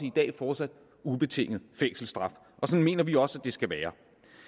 i dag fortsat ubetinget fængselsstraf sådan mener vi også at det skal være